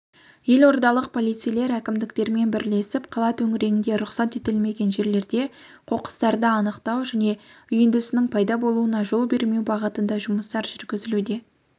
елордалық полицейлер әкімдіктерменбірлесіп қала төңірегінде рұқсат етілмеген жерлерде қоқыстарды анықтау және үйіндісінің пайда болуына жол бермеу бағытында жұмыстар жүргізілуде